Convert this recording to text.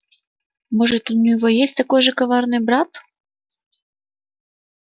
может у него есть такой же коварный брат